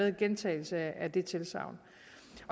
en gentagelse af det tilsagn